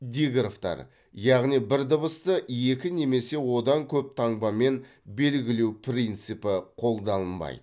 диграфтар яғни бір дыбысты екі немесе одан көп таңбамен белгілеу принципі қолданылмайды